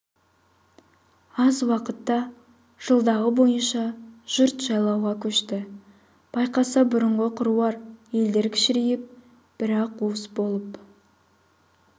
аз уақытта жылдағы бойынша жұрт жайлауға көшті байқаса бұрынғы қыруар елдер кішірейіп бір-ақ уыс болып